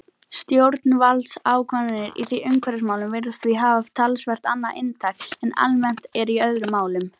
Stjórnvaldsákvarðanir í umhverfismálum virðast því hafa talsvert annað inntak en almennt er í öðrum málum.